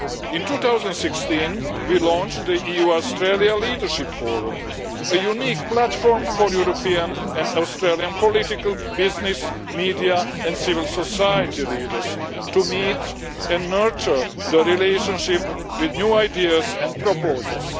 In 2016, we launched the EU-Australia Leadership Forum, a unique platform for European and Australian political business, media and civil society leaders to meet and nurture the relationship with new ideas and proposals.